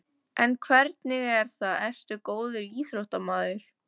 En hvernig er það, ertu góður íþróttamaður?